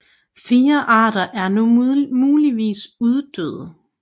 Fire arter er nu muligvis uddøde